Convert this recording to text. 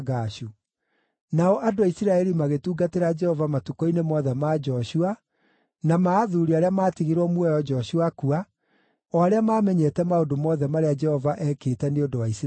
Nao andũ a Isiraeli magĩtungatĩra Jehova matukũ-inĩ mothe ma Joshua na ma athuuri arĩa maatigirwo muoyo Joshua akua, o arĩa maamenyete maũndũ mothe marĩa Jehova ekĩte Nĩ ũndũ wa Isiraeli.